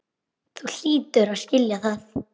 Þú hlýtur að skilja það.